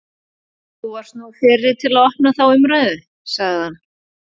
Þú varðst nú fyrri til að opna þá umræðu, sagði hann.